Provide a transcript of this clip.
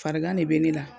Farigan de bɛ ne la